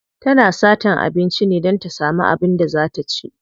Tana satan abinci ne don ta samu abin da za ta ci.